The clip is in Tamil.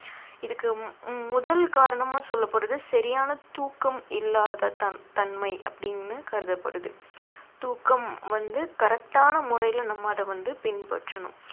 இதுக்கு உம் முதல் காரணமா சொல்லப்படுறது சரியான தூக்கம் இல்லாத தன்~ தன்மை அப்படின்னு கருதப்படுது தூக்கம் வந்து correct ஆன முறையில நம்ம அதை வந்து பின்பற்றனும்